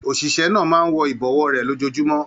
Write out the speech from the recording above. Oṣiṣẹ náà máa n wọ ibọwọ rẹ lójoojúmọ́.